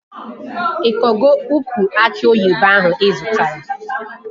Ị kọgo ukwu aki oyibo ahụ ị zụtara?